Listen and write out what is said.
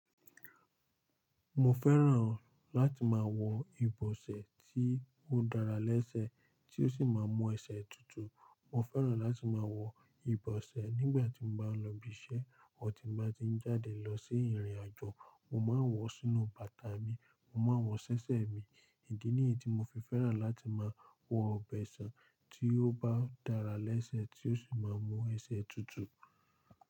Mo fẹ́ràn láti máa wọ ibosẹ̀ tí ó dára léṣẹ́, tí ó sì máa mu ẹsẹ̀ tutù. Mo fẹ́ràn láti máa wọ ibosẹ̀ nígbà tí mo bá ń lọ ibi iṣẹ́, àti tí mo bá ti ń jáde lọ sí ìrìnàjò. Mo máa ń wọ sínú bàtà mi, mo máa ń wọ ṣẹ́ṣẹ́ mi. Ìdí níyi tí mo fi fẹ́ràn láti máa wọ ibosẹ̀ tí ó bá dára léṣẹ́, tí ó sì máa mu ẹsẹ̀ tutù.